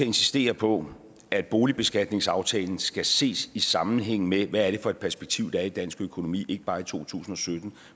insistere på at boligbeskatningsaftalen skal ses i sammenhæng med hvad det er for et perspektiv der er i dansk økonomi ikke bare i to tusind og sytten